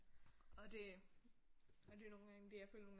Og det og det er nogle gange det jeg føler nogle gange